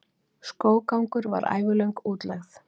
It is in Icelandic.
Skóggangur var ævilöng útlegð.